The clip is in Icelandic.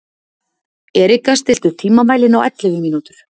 Erika, stilltu tímamælinn á ellefu mínútur.